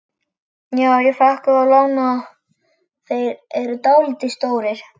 Já ég fékk þá lánaða, þeir eru dálítið stórir